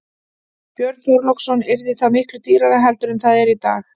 Björn Þorláksson: Yrði það miklu dýrara heldur en það er í dag?